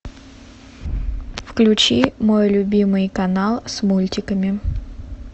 включи мой любимый канал с мультиками